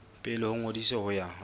pele ho ngodiso ho ya